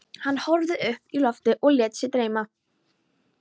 Hann horfði upp í loftið og lét sig dreyma.